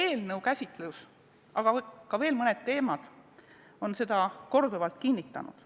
Selle eelnõu käsitlus, aga veel mõne muu teema käsitlus on seda korduvalt kinnitanud.